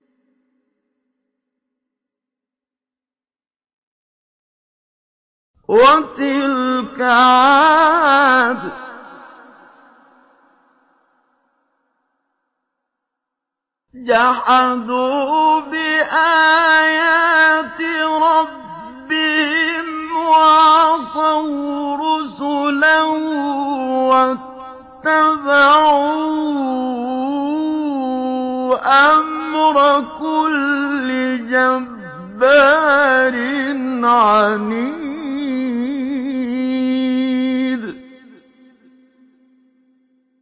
وَتِلْكَ عَادٌ ۖ جَحَدُوا بِآيَاتِ رَبِّهِمْ وَعَصَوْا رُسُلَهُ وَاتَّبَعُوا أَمْرَ كُلِّ جَبَّارٍ عَنِيدٍ